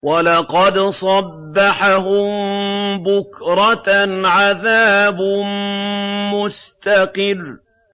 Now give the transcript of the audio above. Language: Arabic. وَلَقَدْ صَبَّحَهُم بُكْرَةً عَذَابٌ مُّسْتَقِرٌّ